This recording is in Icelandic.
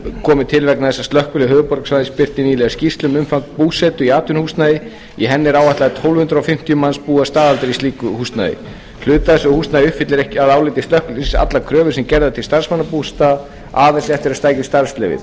komið til vegna þess að slökkvilið höfuðborgarsvæðisins birti nýlega skýrslu um umfang búsetu í atvinnuhúsnæði í henni er áætlað tólf hundruð fimmtíu manns búi að staðaldri í slíku húsnæði hluti af þessu húsnæði uppfyllir ekki að áliti slökkviliðsins allar kröfur sem gerðar eru til starfsmannabústaða aðeins eftir að sækja um starfsleyfið